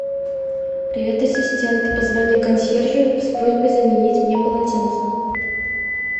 привет ассистент позвони консьержу с просьбой заменить мне полотенце